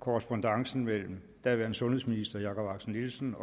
korrespondancen mellem daværende sundhedsminister jakob axel nielsen